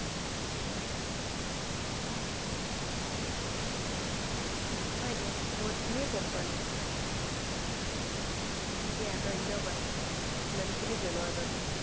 হয় দিয়া, বহুতখিনিয়ে গম পালো। দিয়া ধন্যবাদ ইমানখিনি জনোৱাৰ বাবে।